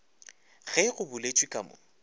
ge go boletšwe ka mo